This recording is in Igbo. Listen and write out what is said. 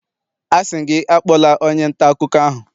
Asị m gị, akpọla onye nta akụkọ ahụ!